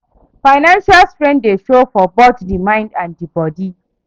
Financial strain dey show for both di mind and di bodi